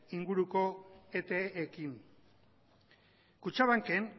inguruko epeekin kutxabanken